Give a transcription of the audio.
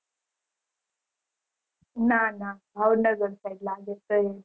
ના ના ભાવનગર સાઈડ